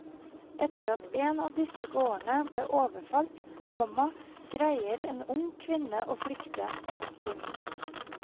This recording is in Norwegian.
Etter at en av disse gårdene blir overfalt, komma greier en ung kvinne å flykte. punktum